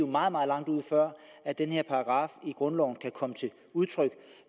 meget meget langt ud før den her paragraf i grundloven kan komme til udtryk